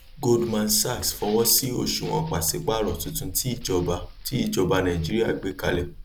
goldman sachs fọwọ sí òṣùwọn pàsípàrọ tuntun tí ìjọba tí ìjọba nàìjíríà gbé kalẹ